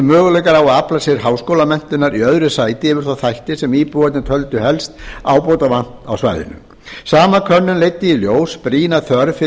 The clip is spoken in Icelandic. á að afla sér háskólamenntunar í öðru sæti yfir þá þætti sem íbúarnir töldu helst ábótavant á svæðinu sama könnun leiddi í ljós brýna þörf fyrir